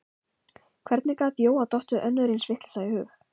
Hvernig gat Jóa dottið önnur eins vitleysa í hug?